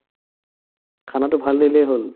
khana টো ভাল দিলেই হ'ল